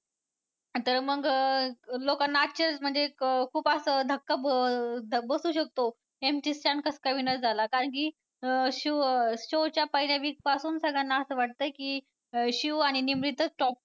तर मग लोकांना आश्चर्य म्हणजे खूप असं धक्का बबसू शकतो MC Stan कसं काय winner झाला कारण की अं show च्या पहिल्या week पासून सगळ्यांना असं वाटतंय की शिव आणि निमरीतचं top